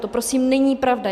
To prosím není pravda.